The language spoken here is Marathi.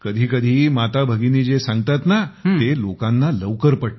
कधी कधी माता भगिनी जे सांगतात ना ते लोकांना लवकर पटते